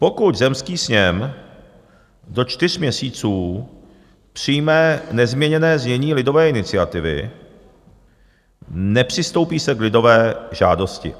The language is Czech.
Pokud zemský sněm do čtyř měsíců přijme nezměněné znění lidové iniciativy, nepřistoupí se k lidové žádosti.